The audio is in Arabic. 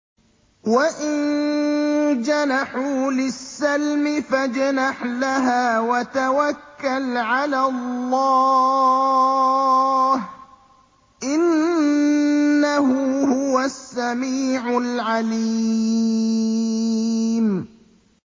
۞ وَإِن جَنَحُوا لِلسَّلْمِ فَاجْنَحْ لَهَا وَتَوَكَّلْ عَلَى اللَّهِ ۚ إِنَّهُ هُوَ السَّمِيعُ الْعَلِيمُ